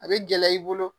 A bɛ gɛlɛya i bolo